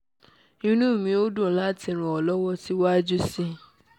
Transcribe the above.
inú mi yóò dùn láti ràn ọ́ lọ́wọ́ síwájú sí i